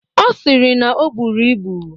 Ọ sịrị na o buru ibu.